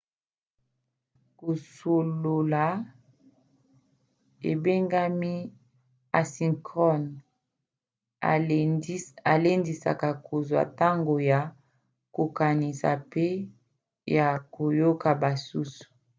kosolola ebengami asynchrone elendisaka kozwa ntango ya kokanisa pe ya koyoka basusu